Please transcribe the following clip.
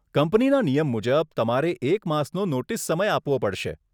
કંપનીના નિયમ મુજબ, તમારે એક માસનો નોટીસ સમય આપવો પડશે.